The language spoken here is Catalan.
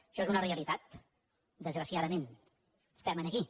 això és una realitat desgraciadament estem aquí